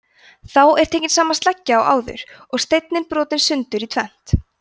þá er tekin sama sleggja og áður og steinninn brotinn sundur í tvennt